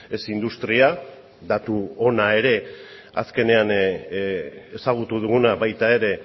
ez industria datu ona ere azkenean ezagutu duguna baita ere